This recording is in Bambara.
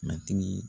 Matigi